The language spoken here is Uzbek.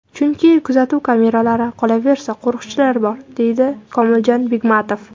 Chunki kuzatuv kameralari, qolaversa, qo‘riqchilar bor”, deydi Komiljon Begmatov.